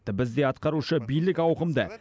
бізде атқарушы билік ауқымды